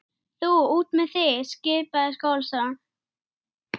Hún sá ekkert.